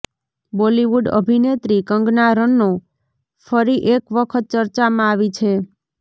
Bollywood અભિનેત્રી કંગના રનૌ ફરી એક વખત ચર્ચામાં આવી છે